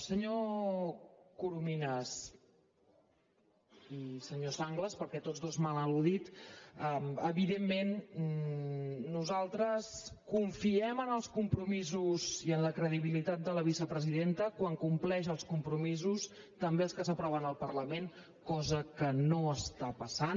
senyor corominas i senyor sanglas perquè tots dos m’han al·ludit evidentment nosaltres confiem en els compromisos i en la credibilitat de la vicepresidenta quan compleix els compromisos també els que s’aproven al parlament cosa que no està passant